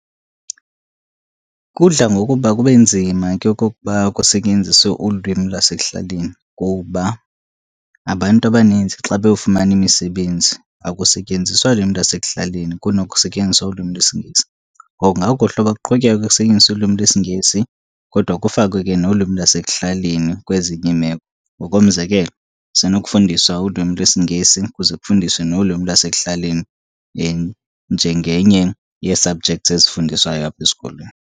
Kudla ngokuba kube nzima ke okokuba kusetyenziswe ulwimi lasekuhlaleni ngokuba abantu abaninzi xa beyofumana imisebenzi akusetyenziswa lwimi lasekuhlaleni kunoko kusetyenziswa ulwimi lwesiNgesi. Ngoku kungakuhle uba kuqhutyekwe kusetyenziswe ulwimi lwesiNgesi kodwa kufakwe ke nolwimi lasekuhlaleni kwezinye iimeko. Ngokomzekelo, kusenokufundiswa ulwimi lwesiNgesi kuze kufundiswe nolwimi lasekuhlaleni njengenye yee-subjects ezifundiswayo apha esikolweni.